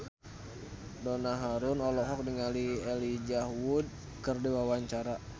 Donna Harun olohok ningali Elijah Wood keur diwawancara